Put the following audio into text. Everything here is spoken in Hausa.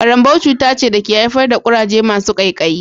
Karanbou cuta ce da ke haifar da kuraje masu kaikayi